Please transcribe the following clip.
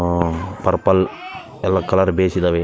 ಆ ಪರ್ಪಲ್‌ ಎಲ್ಲ colour base ಇದಾವೆ.